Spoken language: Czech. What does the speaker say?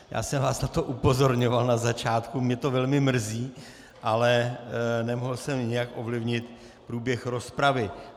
Já jsem vás na to upozorňoval na začátku, mě to velmi mrzí, ale nemohl jsem nijak ovlivnit průběh rozpravy.